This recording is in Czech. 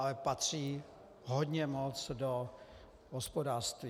Ale patří hodně moc do hospodářství.